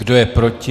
Kdo je proti?